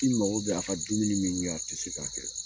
I dun mako bɛ a ka dumuni min kɛ, a tɛ se k'a kɛ